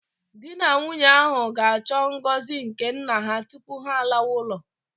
Di na nwunye ahụ ga-achọ ngọzi nke nna ha tupu ha alawa ụlọ